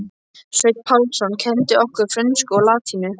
Sveinn Pálsson kenndi okkur frönsku og latínu.